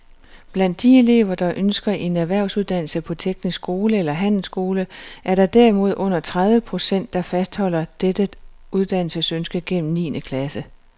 Blandt de elever, der ønsker en erhvervsuddannelse på teknisk skole eller handelsskole, er der derimod under tredive procent, der fastholder dette uddannelsesønske gennem niende klasse.